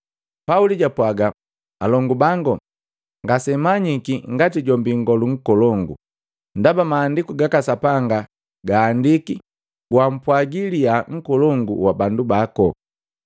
Pauli japwaga, “Alongu bango, ngasenamanyiki ngati jombi nngolu nkolongu. Ndaba maandiku gaka Sapanga gahandiki, ‘Gwampwaji liyaa nkolongu wa bandu bako.’ ”